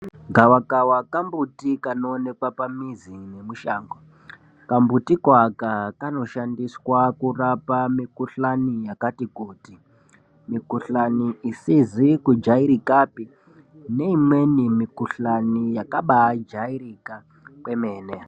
Gavakava kambuti kanoonekwa pamuzi nemushango. Kambuti koaka kanoshandiswa kurapa mikuhlani yakati kuti. Mikuhlani isizi kujairikapi neimweni mikuhlani yakabajairika kwemene.